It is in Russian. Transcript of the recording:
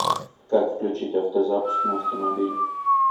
как включить автозапуск на автомобиле